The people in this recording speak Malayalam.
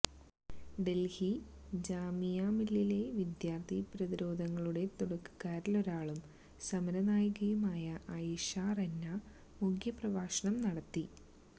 ഡല്ഹി ജാമിഅ മില്ലിയയിലെ വിദ്യാര്ഥി പ്രതിരോധങ്ങളുടെ തുടക്കക്കാരിലൊരാളും സമര നായികയുമായ ആയിഷാ റെന്ന മുഖ്യപ്രഭാഷണം നടത്തി